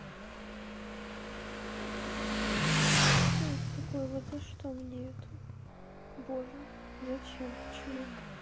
что это такое вот за что мне это боже зачем почему